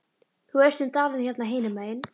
Þú veist um dalinn hérna hinum megin.